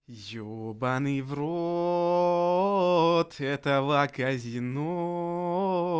ебанный в рот этого казино